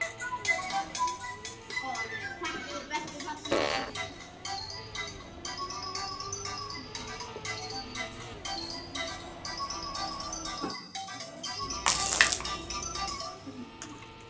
Af tillitssemi við mig hefur Helena merkt þessa helgi: London